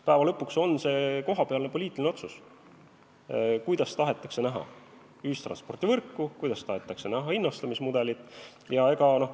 Lõppude lõpuks on see kohapealne poliitiline otsus, kuidas tahetakse näha ühistranspordivõrku ja kuidas tahetakse näha hinnastamismudelit.